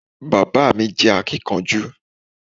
Bàbá mi jẹ́ akínkanjú